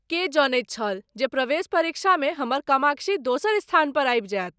के जनैत छल जे प्रवेश परीक्षामे हमर कामाक्षी दोसर स्थान पर आबि जायत?